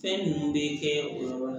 Fɛn ninnu bɛ kɛ o yɔrɔ la